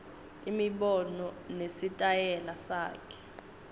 imibono nesitayela sakhe